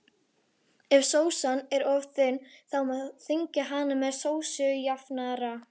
Ef sósan er of þunn má þykkja hana með sósujafnara.